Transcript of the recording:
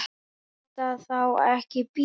Má þetta þá ekki bíða?